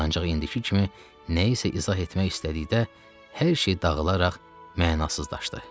Ancaq indiki kimi nəyisə izah etmək istədikdə hər şey dağılaraq mənasızlaşdı.